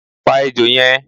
Pa ejò yẹn!